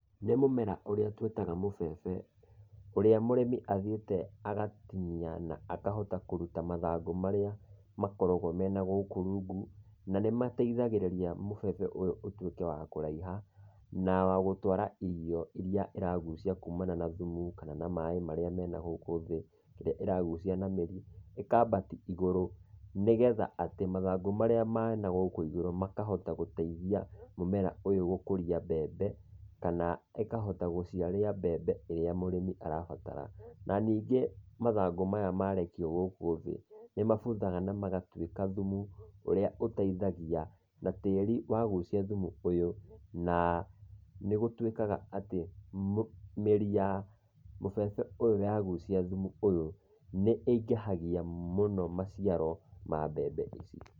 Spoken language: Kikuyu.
Nĩ mũmera, ũrĩa twĩtaga mũbebe ũrĩa mũrĩmi athiĩte agatinia na akahota kũruta mathangũ marĩa makoragwo mena gũkũ rungu, na nĩ mateithagĩrĩria mũbebe ũyũ ũtuĩke wa kũraiha na wagũtwara irio irĩa ĩragucia kumana na thumu kana na maĩ marĩa mena gũkũ thĩ, ĩrĩa ĩragucia na mĩri ĩkabatia igũrũ, nĩgetha atĩ mathangũ marĩa ma na gũkũ ĩgũrũ makahota gũteithia mũmera ũyũ gũkũria mbembe kana ĩkahota gũciara mbembe ĩrĩa mũrĩmi arabatara. Na ningĩ mathangũ maya marekio gũkũ thĩ, nĩ mabuthaga na magatuĩka thumu ũrĩa ũteithagi,a na tĩri wagucia thumu ũyũ na nĩgũtuĩkaga atĩ mĩri ya mũbebe ũyũ yagucia thumu ũyũ, nĩ ingĩhagia mũno maciaro ma mbembe ici.